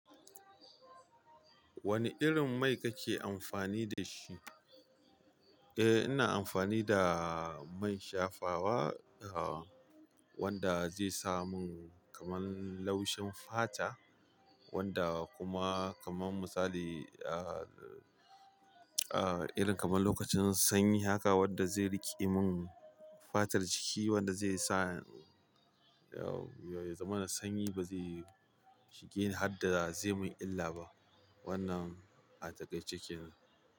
Wani irin mai kake amfani da shi? Eh, ina amfani da man shafawa, ah wanda zai sa mun kamar laushin fata. Wanda kuma kamar misali ah ah irin kamar lokacin sanyi haka wanda zai riƙe mun fatar jiki wanda zai sa ya zamana sanyi ba zai shige ni har da zai mun illa ba wannan a takaice kenan.